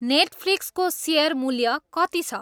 नेटफ्लिक्सको share मूल्य कति छ